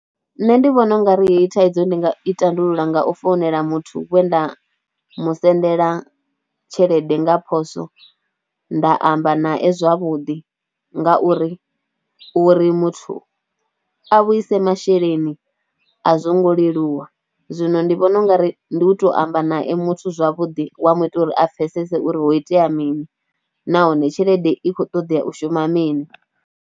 Nṋe ndi vhona ungari heyi thaidzo ndi nga i tandulula nga u founela muthu we nda mu sendela tshelede nga phoswo nda amba nae zwavhuḓi ngauri, uri muthu a vhuise masheleni a zwo ngo leluwa. Zwino ndi vhona ungari ndi u to amba nae muthu zwavhuḓi wa mu ita uri a pfhesese uri ho itea mini, nahone tshelede i khou ṱoḓea u shuma mini.